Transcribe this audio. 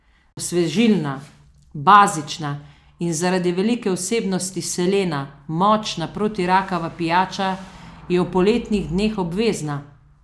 Osvežilna, bazična in zaradi velike vsebnosti selena močna protirakava pijača je v poletnih dneh obvezna!